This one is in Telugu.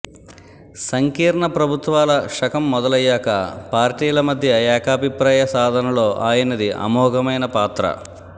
సంకీర్ణ ప్రభుత్వాల శకం మొదలయ్యాక పార్టీల మధ్య ఏకాభిప్రాయ సాధనలో ఆయనది అమోఘమైనపాత్ర